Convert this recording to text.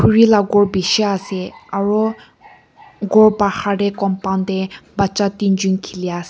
ri la ghor bishi ase aru ghor bahar te compound te bacha tinjon khili ase.